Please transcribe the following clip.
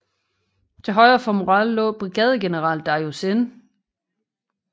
Til højre for Morrell lå brigadegeneral Darius N